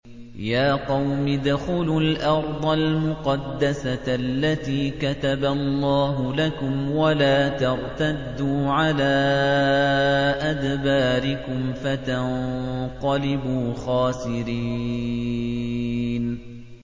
يَا قَوْمِ ادْخُلُوا الْأَرْضَ الْمُقَدَّسَةَ الَّتِي كَتَبَ اللَّهُ لَكُمْ وَلَا تَرْتَدُّوا عَلَىٰ أَدْبَارِكُمْ فَتَنقَلِبُوا خَاسِرِينَ